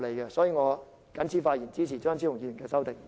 因此，我謹此發言，支持張超雄議員的修正案。